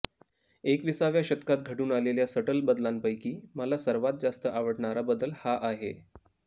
एकविसाव्या शतकात घडून आलेल्या सट्ल बदलांपैकी मला सर्वात जास्त आवडणारा बदल हा आहे